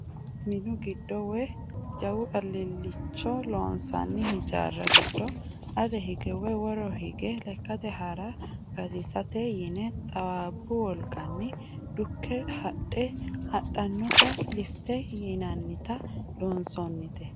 Minu giddo woyi jawu alilicho loonsonni hijaari giddo ale hige woyi woro hinge lekkate hara gatisate yine xawabbu wolqanni dukke hadhe hadhanotta lifite yinannitta loonsonnite.